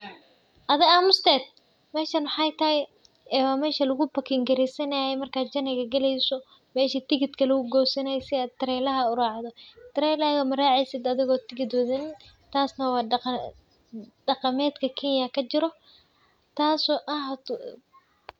Meshan maxey tahay meshi lagu booking gareysanaye marki journey ga galeyso meshi tickitga lagugoosanaye si aad trelaha uraacdo trelaha maraceysid adhigo tigit wadhanin taas neh wa daqamadka Kenya kajiro taas oo ah.